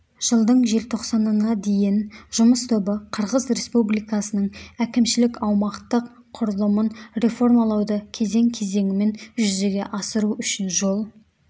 жылдың желтоқсанына дейін жұмыс тобы қырғыз республикасының әкімшілік-аумақтық құрылымын реформалауды кезең-кезеңімен жүзеге асыру үшін жол